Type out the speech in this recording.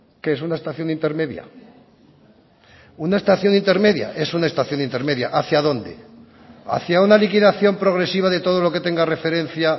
qué es una estación intermedia una estación intermedia es una estación intermedia hacia dónde hacia una liquidación progresiva de todo lo que tenga referencia